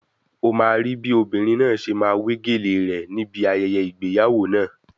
Ó máa rí bí obìnrin náà ṣe máa wé gèlèe rẹ̀ ni ibi ayẹyẹ ìgbéyàwó náà.